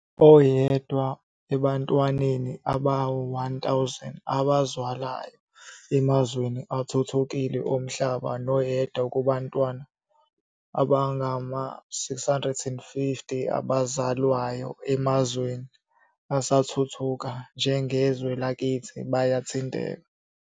"Oyedwa ebantwaneni abayi-1000 abazalwayo emazweni athuthukile omhlaba noyedwa kubantwana abangama-650 abazalwayo emazweni asathuthuka, njengezwe lakithi, bayathinteka.